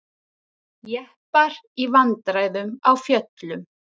Jeppar í vandræðum á fjöllum